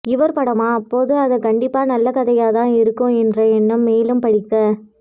இவர் படமா அப்போது அத கண்டிப்பாக நல்ல கதையாக இருக்கும் என்ற எண்ணம் மேலும் படிக்க